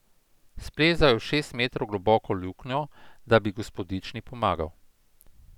Splezal je v šest metrov globoko luknjo, da bi gospodični pomagal.